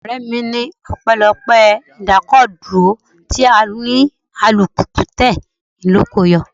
Ọ̀rẹ́ mi ní ọpẹlọpé idakoduro tí òní - alùpùpù tẹ ló ko o yọ.